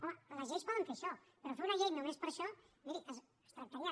home les lleis poden fer això però fer una llei només per això miri es tractaria